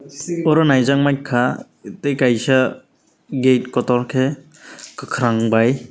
oro naijak mainkha tei kaisa gate kotor khe kwkhwrang bai.